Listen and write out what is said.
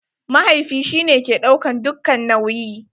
Mahaifi shi ne ke ɗaukan dukka nauyi.